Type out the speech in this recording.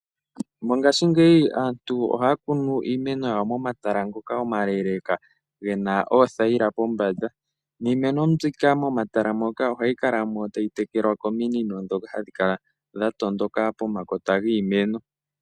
Mongashingeyi aantu ohaya kunu iimeno yawo momatala ngoka omale gena oothayila pombanda. Iimeno mbyika momatala muka ohayi kala mo tayi tekelwa komino ndhoka hadhi kala dhatondoka pomakota giimeno.